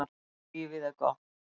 Lífið er gott.